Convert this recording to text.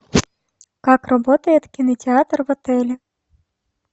как работает кинотеатр в отеле